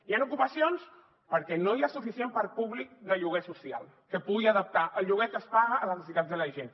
hi han ocupacions perquè no hi ha suficient parc públic de lloguer social que pugui adaptar el lloguer que es paga a les necessitats de la gent